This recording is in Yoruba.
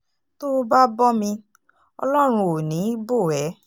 tó o bá bọ́ mi ọlọ́run ò ní í bò ẹ́